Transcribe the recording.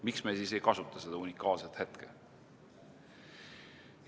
Miks me siis ei kasuta seda unikaalset hetke?